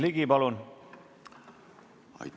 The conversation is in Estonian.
Aitäh!